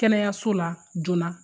Kɛnɛyaso la joona